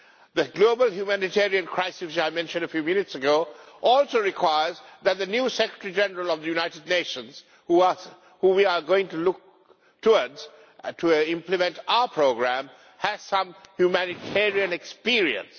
The global humanitarian crisis which I mentioned a few minutes ago also requires that the new Secretary-General of the United Nations, who we are going to look towards to implement our programme, has some humanitarian experience.